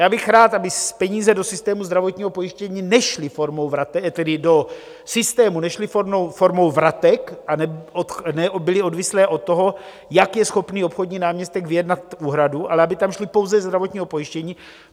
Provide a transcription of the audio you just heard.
Já bych rád, aby peníze do systému zdravotního pojištění nešly formou vratek, tedy do systému nešly formou vratek a nebyly odvislé od toho, jak je schopný obchodní náměstek vyjednat úhradu, ale aby tam šly pouze ze zdravotního pojištění.